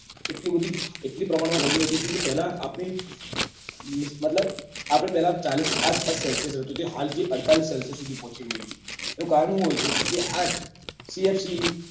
એટલી બધી એટલા પ્રમાણ માં ગરમી વધી છે કે પેલા આપડે મતલબ આપડે પેલા ચાળીસ આસપાસ celsius રહેતું જે હાલ જે અડતાળી celsius સુધી પહોચી ગયું છે એનું કારણ શું હોય છે કે આજ csc c o two